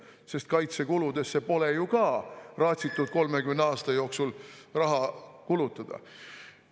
" Sest kaitsekuludeks pole ju ka raatsitud 30 aasta jooksul raha eraldada.